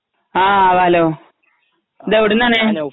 ങാ... ഹലോ, ഇത് എവിടെ നിന്നാണ്?